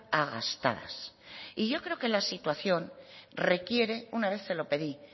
a gastadas y yo creo que la situación requiere una vez se lo pedí